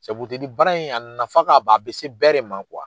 baara in a nafa k'a ban a bɛ bɛɛ de man